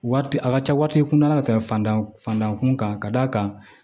Wari a ka ca wari tɛ kundan ta fantan fandankun kan ka d'a kan